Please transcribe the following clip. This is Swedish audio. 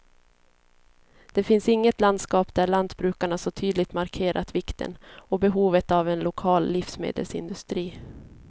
Det finns inget landskap där lantbrukarna så tydligt markerat vikten och behovet av en lokal livsmedelsindustri.